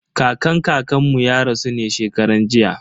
Kakan kakan mu ya rasu ne shekaran jiya.